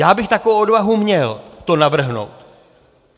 Já bych takovou odvahu měl to navrhnout.